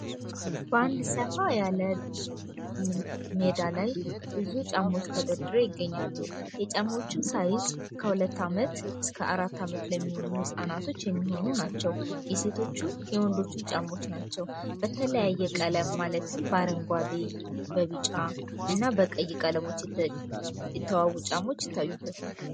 በአንድ ሰፋ ያለ ሜዳ ላይ ብዙ ጫማዎች ተደርድረው ይገኛሉ። የጫማዎችም ሳይዝ ከሁለት አመት አስከ አራት አመት የሚሆኑ ህፃናት ናቸው። የወንዶችም የሴቶችም ጫማዎች ናቸው። በተለያየ ቀለም ማለትም በአረንጓዴ ፣በቢጫ እና በቀይ ቀለም የተዋቡ ጫማዎች ይገኙበታል።